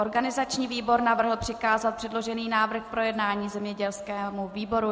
Organizační výbor navrhl přikázat předložený návrh k projednání zemědělskému výboru.